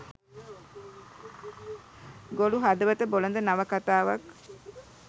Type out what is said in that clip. ගොළු හදවත බොළඳ නවකතාවක්